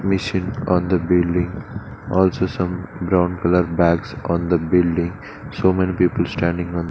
Machine on the building also some brown colour bags on the building so many people standing on --